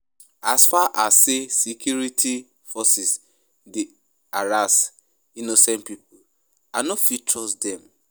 As far as sey security forces dey harass innocent pipo, I no fit trust dem.